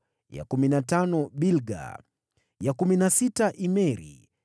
ya kumi na tano Bilga, ya kumi na sita Imeri,